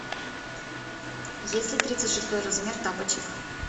есть ли тридцать шестой размер тапочек